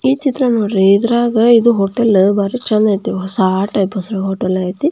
ಈ ಚಿತ್ರ ನೋಡ್ರಿ ಇದ್ರಾಗ ಹೋಟೆಲ್ ಬಾರಿ ಚಂದ್ ಐತೆ ಹೊಸಾ ಟೈಪ್ ಹೋಟೆಲ್ ಐತೆ--